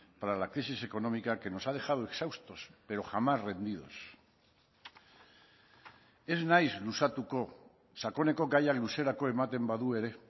para la crisis económica que nos ha dejado exhaustos pero jamás rendidos ez naiz luzatuko sakoneko gaia luzerako ematen badu ere